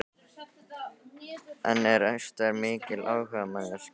En er Ester mikil áhugamanneskja um matargerð?